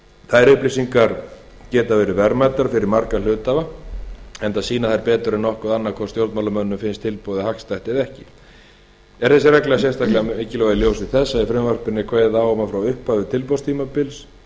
þær upplýsingar geta verið verðmætar fyrir marga hluthafa enda sýna þær betur en nokkuð annað hvort stjórnarmönnum finnst tilboðið hagstætt eða ekki er þessi regla sérstaklega mikilvæg í ljósi þess að í frumvarpinu er kveðið á um að frá upphafi tilboðstímabils og